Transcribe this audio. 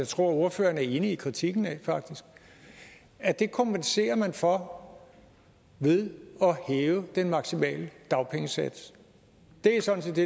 tror at ordføreren er enig i kritikken af det kompenserer man for ved at hæve den maksimale dagpengesats det er sådan set det